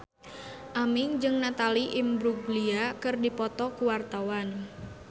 Aming jeung Natalie Imbruglia keur dipoto ku wartawan